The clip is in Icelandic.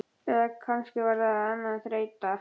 Eða kannski var það ekki annað en þreyta.